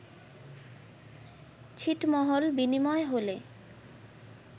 ছিটমহল বিনিময় হলে